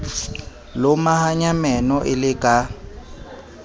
lomahanya meno e le ka